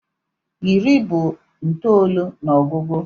Iri bụ itoolu n'ogugu